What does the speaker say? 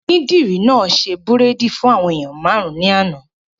Onídìrí náà ṣe bírèèdì fún àwọn èèyàn máàrún ní àná